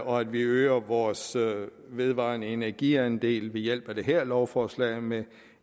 og at vi øger vores vedvarende energiandel ved hjælp af det her lovforslag med